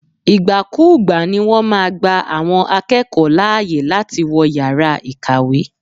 Ìgbà kúùgba ni wọ́n máa gba àwọn akẹ́kọ̀ọ́ láàyè láti wọ yàrá ìkàwé.